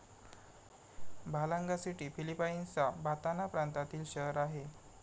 Balanga city फिलिपाईन्सचा Bataan प्रांतातील शहर आहे.